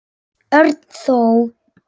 Örn þó.